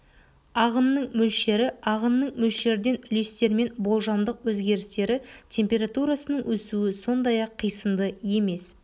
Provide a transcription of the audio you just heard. ағынның мөлшері ағынның мөлшерден үлестермен болжамдық өзгерістері температурасының өсуі сондай-ақ қисынды емес